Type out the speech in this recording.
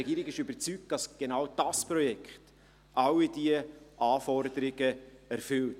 Die Regierung ist überzeugt, dass genau dieses Projekt alle diese Anforderungen erfüllt.